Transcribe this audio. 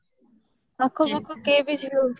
କେହି